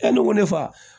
E ne ko ne fa